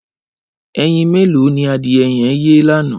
Ẹyín méló ni adiẹ yẹn yé lànã?